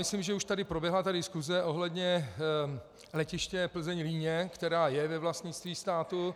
Myslím, že už tady proběhla diskuse ohledně letiště Plzeň-Líně, které je ve vlastnictví státu,